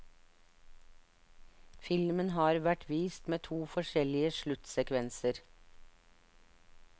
Filmen har vært vist med to forskjellige sluttsekvenser.